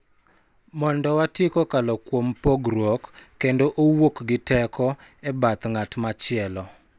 Mondo wati kokalo kuom pogruok kendo owuok gi teko e bath ng�at machielo.